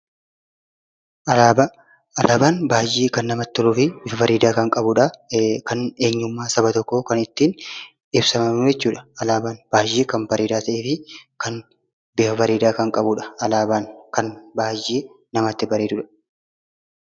Alaabaan baay'ee kan namatti toluu fi baay'ee bareedudha. Eenyummaan saba tokkoo kan ittiin ibsamudha.